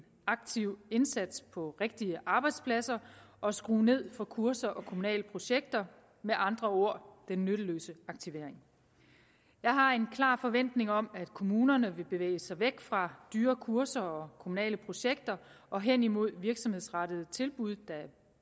aktiv indsats på rigtige arbejdspladser og skrue ned for kurser og kommunale projekter med andre ord den nytteløse aktivering jeg har en klar forventning om at kommunerne vil bevæge sig væk fra dyre kurser og kommunale projekter og hen imod virksomhedsrettede tilbud der